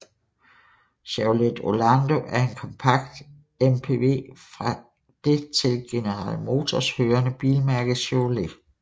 Chevrolet Orlando er en kompakt MPV fra det til General Motors hørende bilmærke Chevrolet